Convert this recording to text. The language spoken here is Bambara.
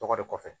Tɔgɔ de kɔfɛ